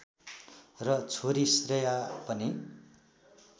र छोरी श्रेया पनि